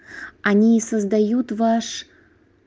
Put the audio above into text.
они создают ваш